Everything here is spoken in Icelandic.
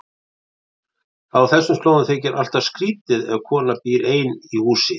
Á þessum slóðum þykir alltaf skrýtið ef kona býr ein í húsi.